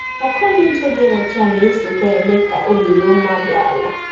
Akọnuche dị ọcha na-esokwa eme ka obi ruo mmadụ ala.